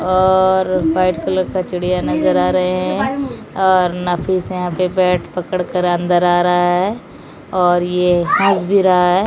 और white colour का चिड़िया नजर आ रहे हैं और नफीस यहां पे बैट पकड़ कर अंदर आ रहा है और ये हंस भी रहा है।